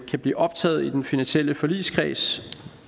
kan blive optaget i den finansielle forligskreds